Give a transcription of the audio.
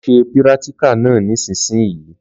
Lọ ṣe pírátíkà náà nísinsìnyí